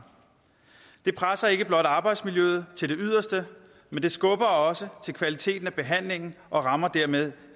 det presser ikke blot arbejdsmiljøet til det yderste men det skubber også til kvaliteten af behandlingen og rammer dermed